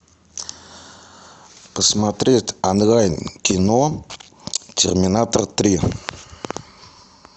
посмотреть онлайн кино терминатор три